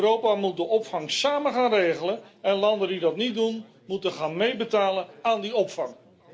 Europa moet de opvang samen gaan regelen en landen die dat niet doen, moeten gaan meebetalen aan die opvang.